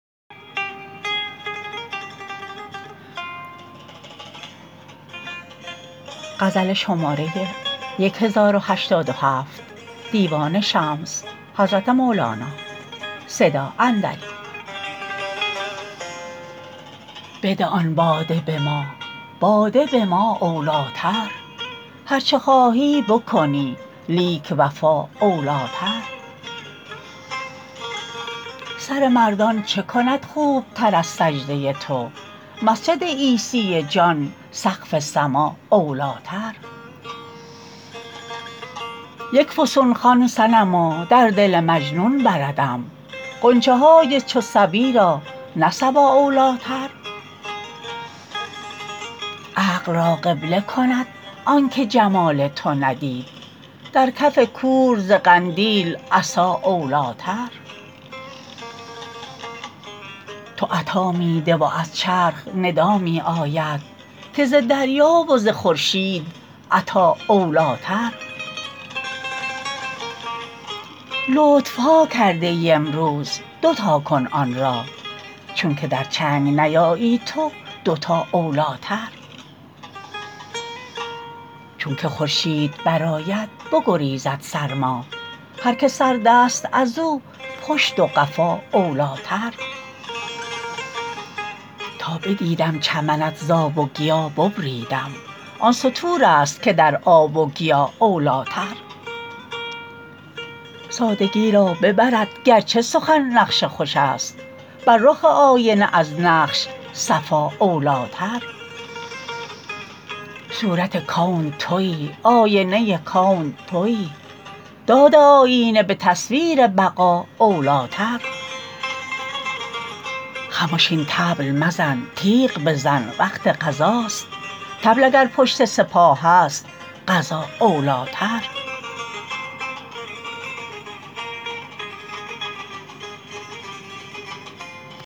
بده آن باده به ما باده به ما اولیتر هر چه خواهی بکنی لیک وفا اولیتر سر مردان چه کند خوبتر از سجده تو مسجد عیسی جان سقف سما اولیتر یک فسون خوان صنما در دل مجنون بردم غنج های چو صبی را نه صبا اولیتر عقل را قبله کند آنک جمال تو ندید در کف کور ز قندیل عطا اولیتر تو عطا می ده و از چرخ ندا می آید که ز دریا و ز خورشید عطا اولیتر لطف ها کرده ای امروز دو تا کن آن را چونک در چنگ نیایی تو دوتا اولیتر چونک خورشید برآید بگریزد سرما هر کی سردست از او پشت و قفا اولیتر تا بدیدم چمنت ز آب و گیا ببریدم آن ستورست که در آب و گیا اولیتر سادگی را ببرد گرچه سخن نقش خوشست بر رخ آینه از نقش صفا اولیتر صورت کون توی آینه کون توی داد آینه به تصویر بقا اولیتر خمش این طبل مزن تیغ بزن وقت غزاست طبل اگر پشت سپاهست غزا اولیتر